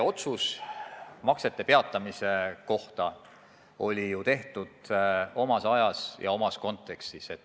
Otsus maksete peatamise kohta tehti ju omas ajas ja omas kontekstis.